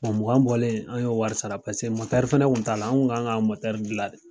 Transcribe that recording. mugan bɔlen an y'o wari sara fana kun t'a la, an kun kan ka gilan la de